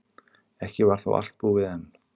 Ekki var þó allt búið enn.